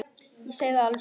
Ég segi það alveg satt.